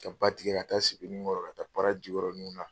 Ka ba tigɛ ka taa Sebeninkɔrɔ ka taa Para Jikɔrɔniw na.